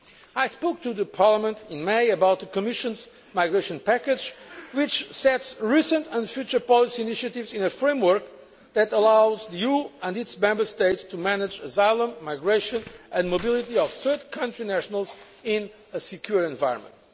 I spoke to Parliament in May about the Commission's migration package, which sets recent and future policy initiatives in a framework that allows the EU and its Member States to manage asylum, migration and mobility of third country nationals in a secure environment.